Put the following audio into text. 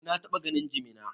Eh, na taɓa ganin jimina.